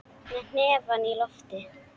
Með hnefann á lofti.